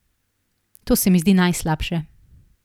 To se mi zdi najslabše.